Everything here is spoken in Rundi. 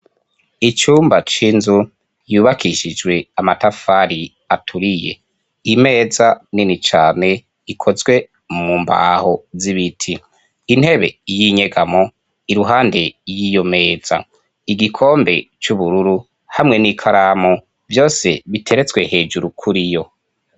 Icumba c'inzu yubakishijwe amatafari aturiye, imeza nini cane ikozwe mumbaho z'ibiti, intebe y'inyegamo iruhande y'iyomeza, igikombe c'ubururu hamwe n'ikaramu vyose biteretswe hejuru kuriyo.